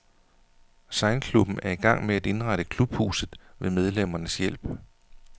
Sejlklubben er i gang med at indrette klubhuset ved medlemmernes hjælp.